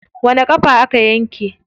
Wani ƙafa aka yanke?